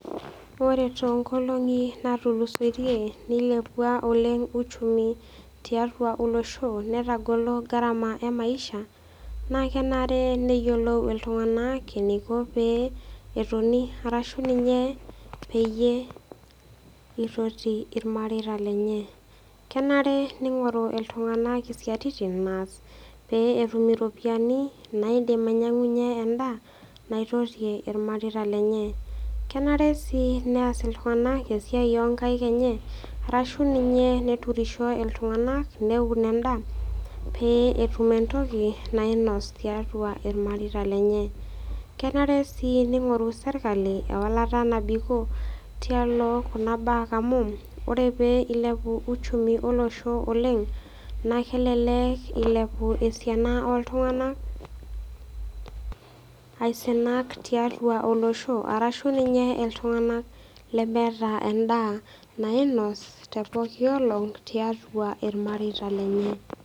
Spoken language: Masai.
Ore too nkolongi natulusotie nilepua oleng uchumi tiatua olosho netagolo gharama eh maisha na kenare neyiolou iltunganak eniko pee etoni arashu ninye peyie eitoti irmareita lenye. Kenare ningoru iltunganak isiatin naas pee etum iropiyani naidim ainyiangunye endaa naitotie irmareita lenye. Kenare si neas iltunganak esiai oo nkaik enye arashu ninye neturisho iltunganak neun endaa pee etum etoki nainos tiatua irmareita lenye. Kenare si ningoru sirkali ewalata nabikoo tialo kuna mbaaa amu ore pee eilepu uchumi olosho oleng naa, kelelek eilepu esiana oltunganak aisinak tiatua olosho arashu ninye iltunganak lemeeta endaa nainos te pooki olong tiatua irmareita lenye.